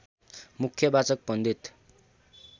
मुख्यवाचक पण्डित